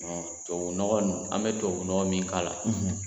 Tubabunɔgɔ in an bɛ tubabunɔgɔ min k'a la